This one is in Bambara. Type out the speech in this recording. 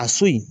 A so in